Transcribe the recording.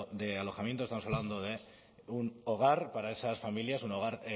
de alojamiento estamos hablando de un hogar para esas familias un hogar